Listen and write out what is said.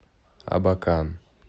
абакан